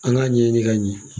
An k'a ɲɛɲini ka ɲɛ.